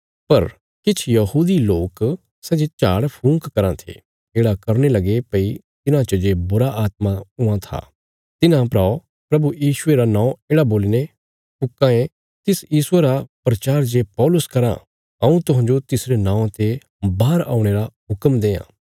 पर किछ यहूदी लोक सै जे झाड़फूंक कराँ थे येढ़ा करने लगे भई तिन्हां च जे बुरीआत्मां हुआं थिआं तिन्हां परा प्रभु यीशुये रा नौं येढ़ा बोलीने फूंको तिस यीशुये रा प्रचार जे पौलुस कराँ हऊँ तुहांजो तिसरे नौआं ते बाहर औणे रा हुक्म देआं